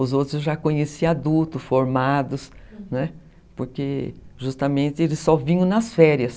Os outros eu já conhecia adultos, formados, hum, né, porque justamente, eles só vinham nas férias.